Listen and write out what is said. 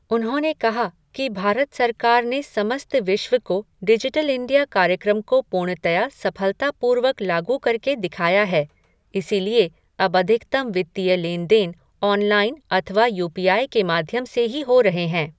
उन्होंने कहा कि भारत सरकार ने समस्त विश्व को डिजिटल इण्डिया कार्यक्रम को पूर्णतया सफ़लतापूर्वक लागू करके दिखाया है, इसीलिए अब अधिकतम वित्तीय लेन देन ऑनलाईन अथवा यू पी आई के माध्यम से ही हो रहे हैं।